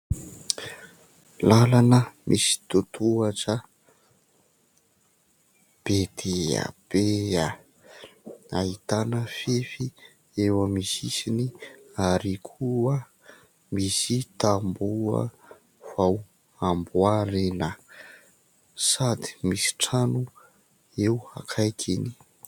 Lalana misy totohatra be dia be ahitana fefy eo aminy sisiny ary koa misy tamboho vao amboarina sady misy trano eo akaikainy.